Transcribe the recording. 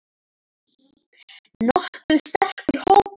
Nokkuð sterkur hópur hérna.